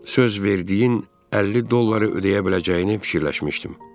Söz verdiyin 50 dolları ödəyə biləcəyini fikirləşmişdim.